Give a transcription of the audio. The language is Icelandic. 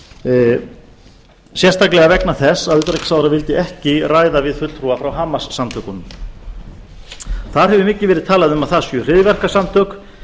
opinberlega sérstaklega vegna þess að utanríkisráðherra vildi ekki ræða við fulltrúa frá hamassamtökunum þar hefur mikið verið talað um að það séu hryðjuverkasamtök